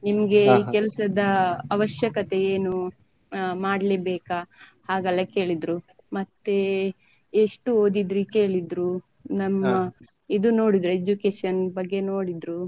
ನಿಮ್ಗೆ ಕೆಲ್ಸದ ಅವಶ್ಯಕತೆ ಏನು ಮಾಡ್ಲೆಬೇಕಾ ಹಾಗಲ್ಲ ಕೇಳಿದ್ರು ಮತ್ತೆ ಎಷ್ಟು ಓದಿದ್ರಿ ಕೇಳಿದ್ರು ನಮ್ಮ ಇದು ನೋಡಿದ್ರು education ಬಗ್ಗೆ ನೋಡಿದ್ರು.